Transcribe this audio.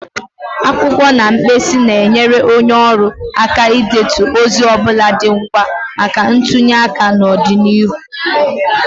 Akwụkwọ na mkpịsị na-enyere onye ọrụ aka idetu ozi ọ bụla dị ngwa maka ntụnye aka n'ọdịnihu.